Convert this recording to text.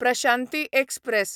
Prashanti express